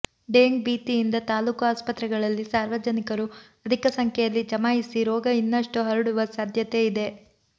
ಡೆಂಗ್ ಭೀತಿಯಿಂದ ತಾಲೂಕು ಆಸ್ಪತ್ರೆಗಳಲ್ಲಿ ಸಾರ್ವಜನಿಕರು ಅಧಿಕ ಸಂಖ್ಯೆಯಲ್ಲಿ ಜಮಾಯಿಸಿ ರೋಗ ಇನ್ನಷ್ಟು ಹರಡುವ ಸಾಧ್ಯತೆ ಇದೆ